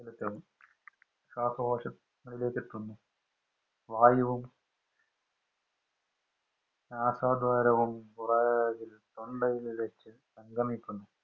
ശ്വാസകോശം അതിലേക്ക് തന്നെ വായുവും ആസ്വാദകരവും കുറെ തൊണ്ടയിൽ വച്ച് സംഗമിക്കുന്നു